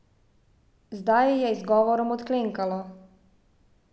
Zdaj je izgovorom odklenkalo!